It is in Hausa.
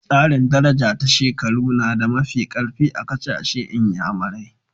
Tsarin daraja ta shekaru na da mafi karfi a kasashen n'yamarai.